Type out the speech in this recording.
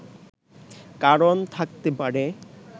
কারণ থাকতে পারে